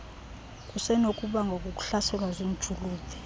kusenokubangwa kukuhlaselwa ziintshulube